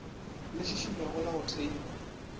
le šišinywago la go theiwa